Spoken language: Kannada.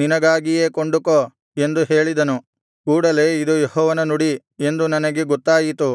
ನಿನಗಾಗಿಯೇ ಕೊಂಡುಕೋ ಎಂದು ಹೇಳಿದನು ಕೂಡಲೆ ಇದು ಯೆಹೋವನ ನುಡಿ ಎಂದು ನನಗೆ ಗೊತ್ತಾಯಿತು